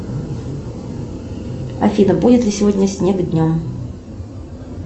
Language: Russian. афина будет ли сегодня снег днем